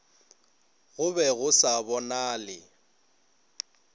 go be go sa bonale